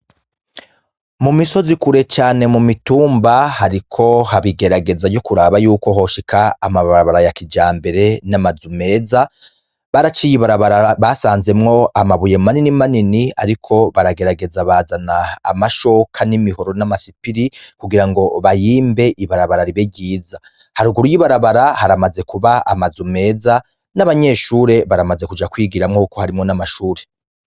Mu misozi kure cane mu mitumba hariko habigerageza ryo kuraba yuko hosheka amabarabara ya kija mbere n'amazu meza baraciye ibarabara basanzemwo amabuye manini manini, ariko baragerageza bazana amashoka n'imihoro n'amasipiri kugira ngo bahimbe ibarabara ribere ryiza, haruguru y'i barabara haramaze kuba amaze umeza n'abanyeshure baramaze kuja kwigiramwo uko harimwo n'amashure.